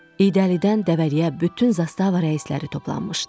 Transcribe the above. İydəlidən Dəvəliyə bütün zastava rəisləri toplanmışdı.